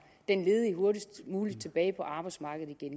den ledige hurtigst muligt tilbage på arbejdsmarkedet det